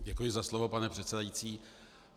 Děkuji za slovo, pane předsedající.